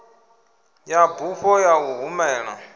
ya bufho ya u humela